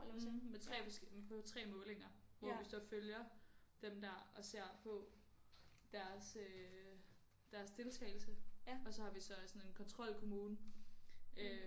Mh med 3 forskellige på 3 målinger hvor vi så følger dem der og ser på deres øh deres deltagelse og så har vi så også sådan en kontrolkonmmune øh